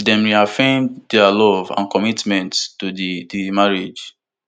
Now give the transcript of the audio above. dem reaffirm dia love and commitment to di di marriage